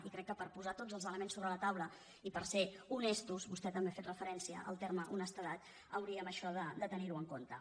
i crec que per posar tots els elements sobre la taula i per ser honestos vostè també ha fet referència al terme ho·nestedat hauríem això de tenir·ho en compte